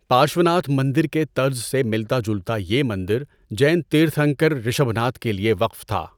پارشوناتھ مندر کے طرز سے ملتا جلتا یہ مندر جین تیرتھنکر رشبھناتھ کے لیے وقف تھا۔